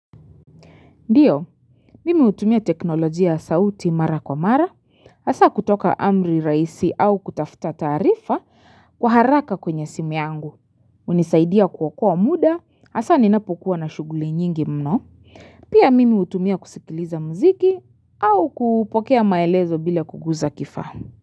Ndiyo, mimi hutumia teknolojia sauti mara kwa mara, hasa kutoka amri rahisi au kutafuta tarifa kwa haraka kwenye simu yangu. Unisaidia ku okoa mda, hasa ninapokuwa na shuguli nyingi mno. Pia mimi hutumia kusikiliza mziki au kupokea maelezo bila kuguza kifahamu.